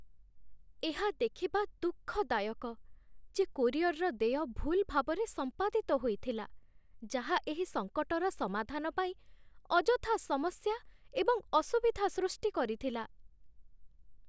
ଏହା ଦେଖିବା ଦୁଃଖଦାୟକ ଯେ କୋରିଅର୍ର ଦେୟ ଭୁଲ୍ ଭାବରେ ସମ୍ପାଦିତ ହୋଇଥିଲା, ଯାହା ଏହି ସଙ୍କଟର ସମାଧାନ ପାଇଁ ଅଯଥା ସମସ୍ୟା ଏବଂ ଅସୁବିଧା ସୃଷ୍ଟି କରିଥିଲା